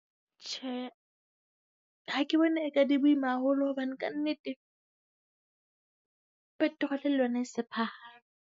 Tjhe, ha ke bone e ka di boima haholo hobane ka nnete petrol le yona e se phahame.